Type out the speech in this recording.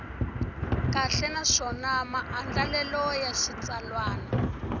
kahle naswona maandlalelo ya xitsalwana